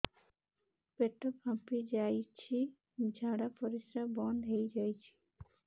ପେଟ ଫାମ୍ପି ଯାଇଛି ଝାଡ଼ା ପରିସ୍ରା ବନ୍ଦ ହେଇଯାଇଛି